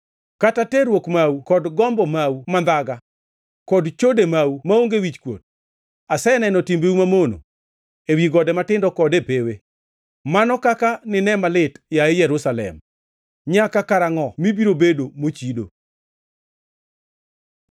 kaka terruok mau kod gombo mau mandhaga, kod chode mau maonge wichkuot! Aseneno timbeu mamono ewi gode matindo kod e pewe. Mano kaka nine malit, yaye Jerusalem! Nyaka karangʼo mibiro bedo mochido?”